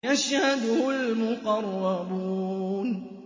يَشْهَدُهُ الْمُقَرَّبُونَ